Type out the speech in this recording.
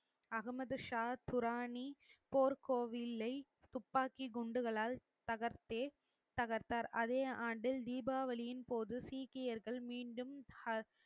அகமது ஷாத் குரானி போர் கோவில்லை துப்பாக்கி குண்டுகளால் தகர்த்தே தகர்த்தார் அதே ஆண்டில் தீபாவளியின் போது சீக்கியர்கள் மீண்டும்